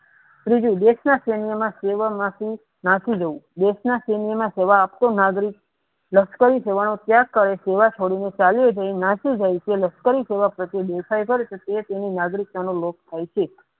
ત્રીજું દેશના સેન્યમાં સેવા માટી નાખી દાવ દેશના સેન્ય ને જવા આપતો નાગરિક લસ્કરી જવાનો ત્યાગ કરી સેવા થડને તે તેની નાગરિકતા નો લોપ થાય છે.